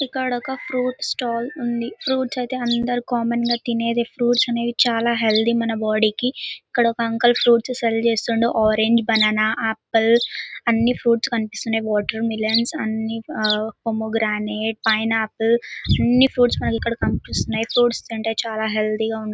ఇక్కడొక fruit stall ఉంది . Fruits ఐతే అందరూ కామన్ గా తినేవి. ఫ్రూట్స్ అనేవి చాలా హెల్తీ . మన బాడీ కి. ఇక్కడొక అంకుల్ ఫ్రూట్స్ సేల్ చేస్తుండు. ఆరంజ్ బనానా ఆపిల్ అన్ని ఫ్రూట్స్ కనిపిస్తున్నాయ్. వాటర్ మిలన్ అన్ని ఆ పోగ్రనేట్ పైనాపిల్ అన్ని ఫ్రూట్స్ ఇక్కడ కనిపిస్తున్నాయ్. ఫ్రూట్స్ తింటే చాలా హెల్తీ గా ఉంటుం--